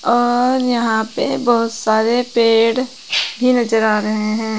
और यहां पे बहुत सारे पेड़ भी नजर आ रहे हैं।